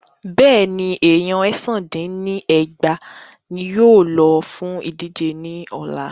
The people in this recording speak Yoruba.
Bẹ́ẹ̀ni, èèyan èsán dín ní ẹgbàá ní yóò lọ fún ìdíje ní ọ̀la.